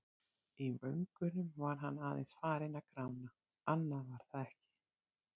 Í vöngunum var hann aðeins farinn að grána, annað var það ekki.